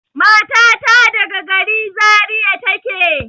Matata daga gari Zariya take.